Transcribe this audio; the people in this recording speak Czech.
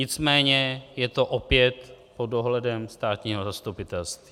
Nicméně je to opět pod dohledem státního zastupitelství.